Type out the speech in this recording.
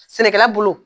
Sɛnɛkɛla bolo